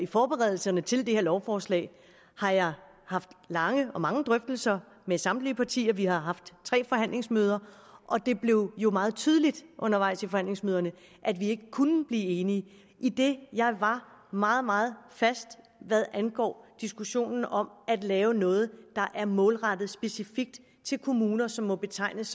forberedelserne til det her lovforslag har jeg haft lange og mange drøftelser med samtlige partier vi har haft tre forhandlingsmøder og det blev jo meget tydeligt undervejs i forhandlingsmøderne at vi ikke kunne blive enige idet jeg var meget meget fast hvad angår diskussionen om at lave noget der er målrettet specifikt til kommuner som må betegnes